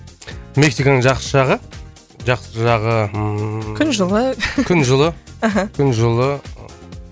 мексиканың жақсы жағы жақсы жағы ммм күн жылы күн жылы мхм күн жылы